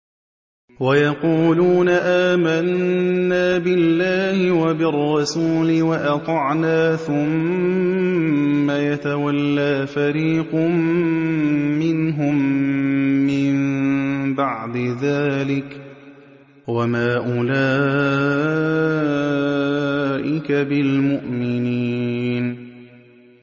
وَيَقُولُونَ آمَنَّا بِاللَّهِ وَبِالرَّسُولِ وَأَطَعْنَا ثُمَّ يَتَوَلَّىٰ فَرِيقٌ مِّنْهُم مِّن بَعْدِ ذَٰلِكَ ۚ وَمَا أُولَٰئِكَ بِالْمُؤْمِنِينَ